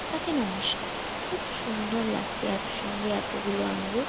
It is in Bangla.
তাকে নমস্কার খুব সুন্দর লাগছে একসঙ্গে এতগুলো আঙ্গুর।